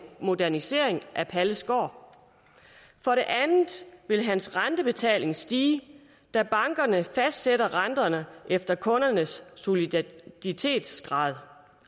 modernisering af palles gård for det andet vil hans rentebetaling stige da bankerne fastsætter renterne efter kundernes soliditetsgrad